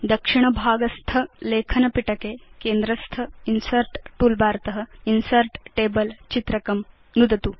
दक्षिण भागस्थ लेखन पिटके केन्द्रस्थ इन्सर्ट् टूलबार त इन्सर्ट् टेबल चित्रकं नुदतु